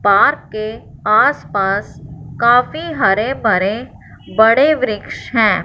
Park के आसपास काफी हरे भरे बड़े वृक्ष हैं।